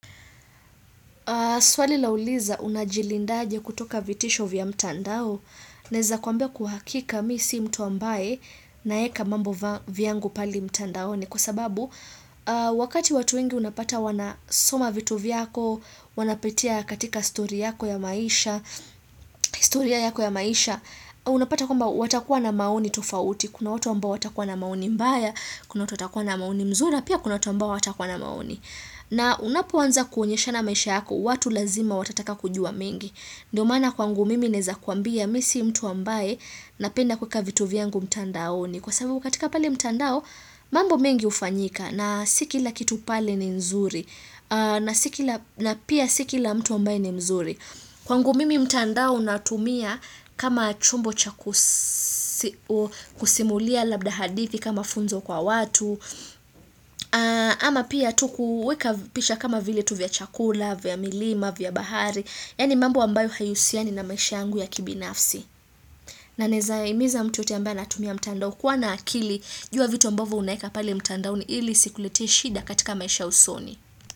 Swali lauliza unajilindaje kutoka vitisho vya mtandao, naeza kwambia kwa hakika misi mtu ambaye naeka mambo vyangu pale mtandaoni kwa sababu wakati watu wengi unapata wanasoma vitu vyako, wanapitia katika story yako ya maisha, historia yako ya maisha, unapata kwamba watakuwa na maoni tofauti, kuna watu ambao watakuwa na maoni mbaya, kuna watu watakuwa na maoni mzuri, pia kuna watu ambao hawatakuwa na maoni. Na unapoanza kuonyesha na maisha yako, watu lazima watataka kujua mengi. Ndo maana kwangu mimi naeza kuambia misi mtu ambaye napenda kweka vitu vyangu mtandaoni. Kwa sababu katika pale mtandao, mambo mengi ufanyika na sikila kitu pale ni mzuri na pia sikila mtu ambaye ni mzuri. Kwa ngu mimi mtandao natumia kama chombo chakusimulia labda hadithi kama funzo kwa watu, ama pia tuku weka picha kama vile tu vya chakula, vya milima, vya bahari, yaani mambo ambayo haiusiani na maisha yangu ya kibi nafsi. Na naezaimiza mtuyoyote ambaye anatumia mtandao kuwa na akili, jua vitu ambavo unaeka pale mtandao ni ili isiku letee shida katika maisha ya usoni.